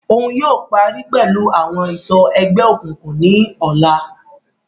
Òún yóò parí pẹlu awọn ètò egbeokunkun ní ọla